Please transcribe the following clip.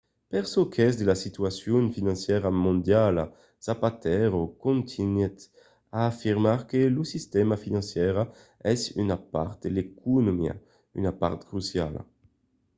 per çò qu'es de la situacion financièra mondiala zapatero contunhèt en afirmar que lo sistèma financièra es una part de l'economia una part cruciala